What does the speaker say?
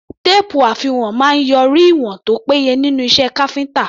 Téèpù àfiwọ̀n máa ń yọrí ìwọ̀n tó péye nínú iṣẹ́ káfíńtà.